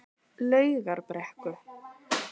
Laugarbrekku